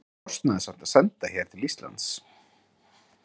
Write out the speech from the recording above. Það er kostnaðarsamt að senda her til Íslands.